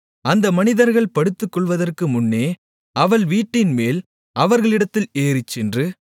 அந்த மனிதர்கள் படுத்துக்கொள்வதற்குமுன்னே அவள் வீட்டின்மேல் அவர்களிடத்திற்கு ஏறிச்சென்று